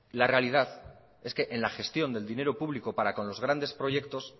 la realidad es que en la gestión del dinero público para con los grandes proyectos